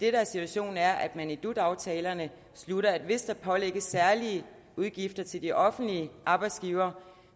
er situationen er at man i dut aftalerne slutter at hvis der pålægges særlige udgifter til de offentlige arbejdsgivere